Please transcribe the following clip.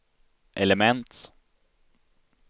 element